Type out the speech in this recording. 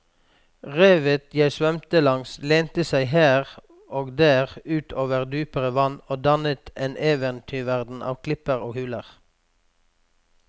Revet jeg svømte langs lente seg her og der ut over dypere vann og dannet en eventyrverden av klipper og huler.